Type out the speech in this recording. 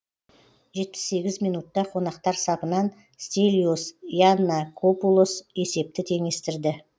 жетпіс сегіз минутта қонақтар сапынан стелиос яннакопулос есепті теңестірді